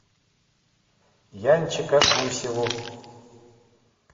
янчика гусеву